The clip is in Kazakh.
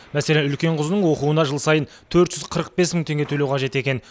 мәселен үлкен қызының оқуына жыл сайын төрт жүз қырық бес мың теңге төлеу қажет екен